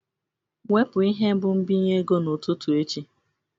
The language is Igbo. Wepu ihe mbụ nbinye ego n'ụtụtụ echi!